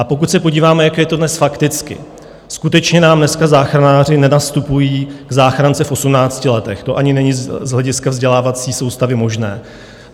A pokud se podíváme, jak je to dnes fakticky, skutečně nám dneska záchranáři nenastupují k záchrance v 18 letech, to ani není z hlediska vzdělávací soustavy možné.